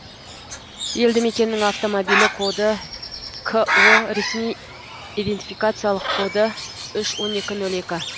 елді мекеннің автомобиль коды ко ресми идентификациялық коды үш он екі нөл екі